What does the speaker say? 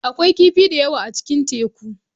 Akwai kifi da yawa a cikin teku.